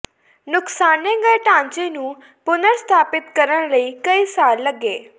ਨੁਕਸਾਨੇ ਗਏ ਢਾਂਚੇ ਨੂੰ ਪੁਨਰ ਸਥਾਪਿਤ ਕਰਨ ਲਈ ਕਈ ਸਾਲ ਲੱਗੇ